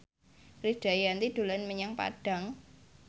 Krisdayanti dolan menyang Padang